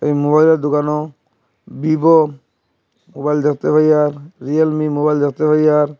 এ মুবাইলের দুকানেও Vivo mobile দেখতে পাই আর রিয়েলমি মুবাইল দেখতে পাই আর--